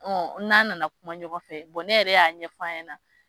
N'a nana kuma ɲɔgɔn fɛ ne yɛrɛ y'a ɲɛf'a ɲɛna.